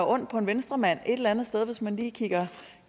ondt på en venstremand hvis man lige kigger